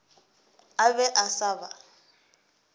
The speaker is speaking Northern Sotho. a be a sa ba